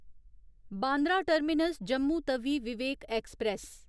Bandra terminus Jammu Tawi Vivek express